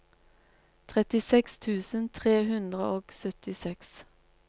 trettiseks tusen tre hundre og syttiseks